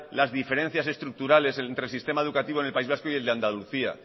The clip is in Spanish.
las diferencias estructurales entre el sistema educativo en el país vasco y el de andalucía